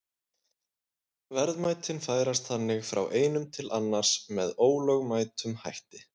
Verðmætin færast þannig frá einum til annars með ólögmætum hætti.